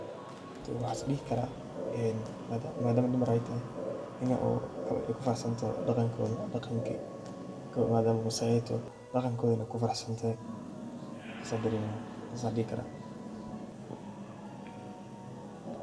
Waxan is dhihi karaa madama dumar ay tahay in ay kufaraxsantoho dhaqankoda, dhaqanki ay ka imade maasai ay toho dhaqankoda wana kufaraxsantahay sas an dareema sas an dhihi karaa